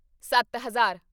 ਸੱਤ ਹਜ਼ਾਰ